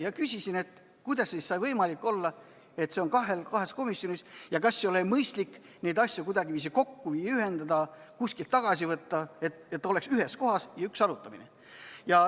Ma küsisin, kuidas saab võimalik olla, et see teema on korraga kahes komisjonis, ja kas ei oleks mõistlik neid asju kuidagiviisi kokku viia, ühendada, kuskilt tagasi võtta, et eelnõu oleks ainult ühes kohas ja toimuks üks arutamine.